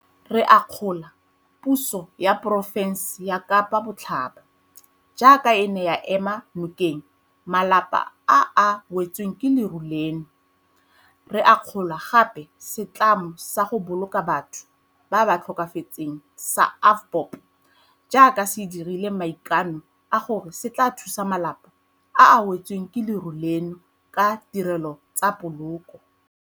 Re akgola puso ya porofense ya Kapa Botlhaba jaaka e ne ya ema nokeng malapa a a wetsweng ke leru leno, re akgola gape le setlamo sa go boloka batho ba ba tlhokafetseng sa AVBOB jaaka se dirile maikano a gore se tla thusa malapa a a wetsweng ke leru leno ka ditirelo tsa poloko.